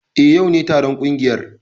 Eh, yau ne taron kungiyar.